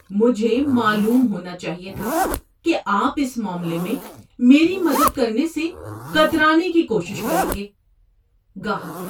مجھے معلوم ہونا چاہیے تھا کہ آپ اس معاملے میں میری مدد کرنے سے کترانے کی کوشش کریں گے۔ (گاہک)